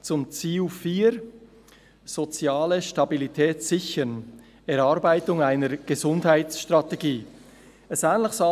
«Zur Sicherung der sozialen Stabilität ist neu eine Gesundheitsstrategie zu erarbeiten …».